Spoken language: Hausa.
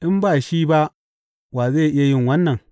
In ba shi ba wa zai yi wannan?